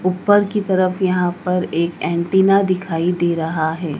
ऊपर की तरफ यहां पर एक एंटीना दिखाई दे रहा है।